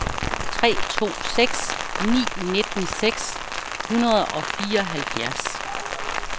tre to seks ni nitten seks hundrede og fireoghalvfjerds